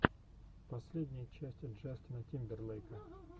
последняя часть джастина тимберлейка